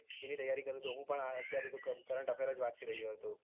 એની તૈયારી કરું છુ હું પણ હાલ અત્યારે તો current affair જ વાંચી રહ્યો છુ